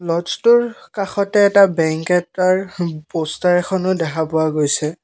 লজটোৰ কাষতে এটা বেঙ্ক এটাৰ পষ্টাৰ এখনো দেখা পোৱা গৈছে।